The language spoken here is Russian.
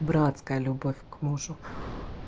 братская любовь к мужу